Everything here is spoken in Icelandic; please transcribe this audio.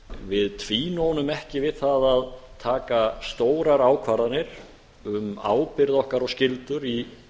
við tvínónum ekki við það að taka stórar ákvarðanir um ábyrgð okkar og skyldur í